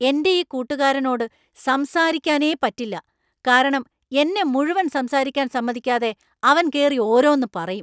എന്‍റെയീ കൂട്ടുകാരനോട്‌ സംസാരിക്കാനേ പറ്റില്ല., കാരണം എന്നെ മുഴുവൻ സംസാരിക്കാൻ സമ്മതിക്കാതെ അവൻ കേറി ഓരോന്ന് പറയും.